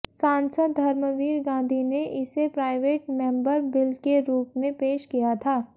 सांसद धर्मवीर गांधी ने इसे प्राइवेट मेंबर बिल के रूप में पेश किया था